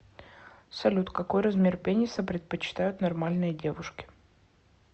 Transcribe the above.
салют какой размер пениса предпочитают нормальные девушки